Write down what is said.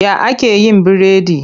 Ya ake yin biredi?